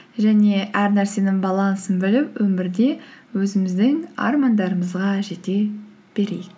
және әр нәрсенің балансын біліп өмірде өзіміздің армандарымызға жете берейік